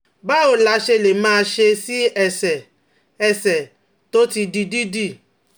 Báwo la ṣe lè máa ṣe sí ẹsẹ̀ ẹsẹ̀ tó ti di dídì?